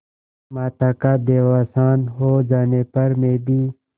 माता का देहावसान हो जाने पर मैं भी